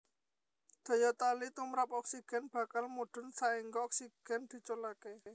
Daya tali tumrap oksigen bakal mudhun saéngga oksigen diculaké